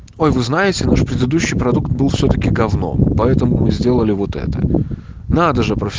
ой вы знаете наш предыдущий продукт был всё-таки говно поэтому мы сделали вот это надо